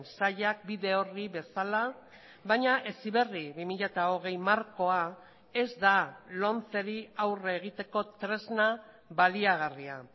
sailak bide orri bezala baina heziberri bi mila hogei markoa ez da lomceri aurre egiteko tresna baliagarria